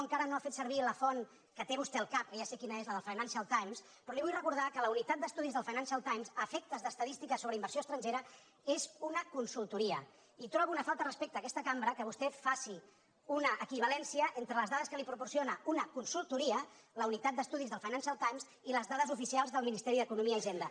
encara no ha fet servir la font que té vostè al cap que ja sé quina és la del financial times però li vull recordar que la unitat d’estudis del financial timesinversió estrangera és una consultoria i trobo una falta de respecte a aquesta cambra que vostè faci una equivalència entre les dades que li proporcio na una consultoria la unitat d’estudis del financial times i les dades oficials del ministeri d’economia i hisenda